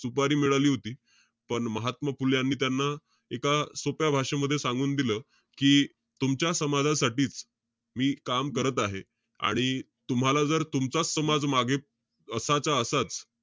सुपारी मिळाली होती. पण महात्मा फुले, यांनी त्यांना एका सोप्या भाषेमध्ये सांगून दिलं. कि, तुमच्या समाजासाठीच मी काम करत आहे. आणि तूम्हाला जर, तुमचाच समाज मागे असाचा असाच,